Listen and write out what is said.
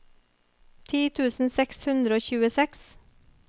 ti tusen seks hundre og tjueseks